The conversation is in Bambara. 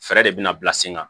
Fɛɛrɛ de bɛna bila sen kan